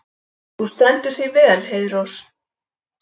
Þú stendur þig vel, Heiðrós!